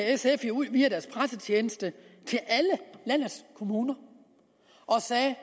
sf jo ud via deres pressetjeneste til alle landets kommuner og sagde